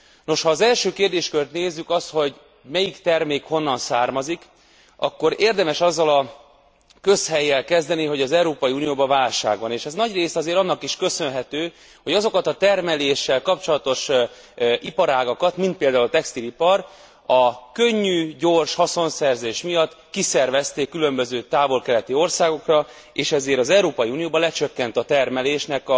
Nos, ha az első kérdéskört nézzük, azt, hogy melyik termék honnan származik, akkor érdemes azzal a közhellyel kezdeni, hogy az Európai Unióban válság van, és ez nagyrészt azért annak is köszönhető, hogy azokat a termeléssel kapcsolatos iparágakat, mint például textilipar, a könnyű, gyors haszonszerzés miatt kiszervezték különböző távol keleti országokra, és ezért az Európai Unióban lecsökkent a termelésnek